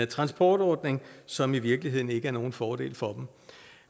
transportordning som i virkeligheden ikke er nogen fordel for dem